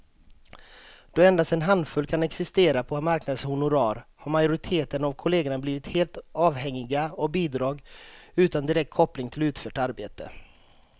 Då endast en handfull kan existera på marknadens honorar har majoriteten av kollegerna blivit helt avhängiga av bidrag utan direkt koppling till utfört arbete.